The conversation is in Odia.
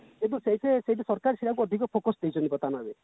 କିନ୍ତୁ ସେଇଟୁ ସେଇଠାକୁ ଅଧିକ focus ଦେଇଛନ୍ତୁ ବର୍ତମାନ ଭାବେ